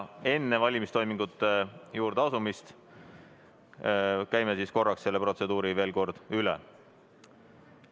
Enne valimistoimingute juurde asumist käime korraks selle protseduuri veel kord üle.